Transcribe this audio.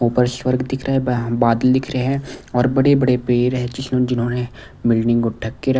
ऊपर स्वर्ग दिख रहा है बादल दिख रहे हैं और बड़े-बड़े पेड़ है जिन्होंने बिल्डिंग को ढक के र--